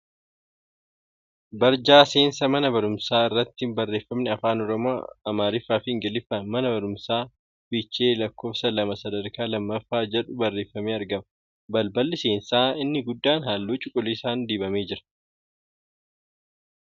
Barjaa seensa mana barumsaa irratti barreeffamni Afaan Oromoo, Amaariffaa fi Ingiliffaan ' Mana Barumsaa Fiichee Lakkoofsa Lama Sadarkaa Lammaffaa ' jedhu barreeffamee argama. Balballi seensaa inni guddaan halluu cuquliisa dibamee jira.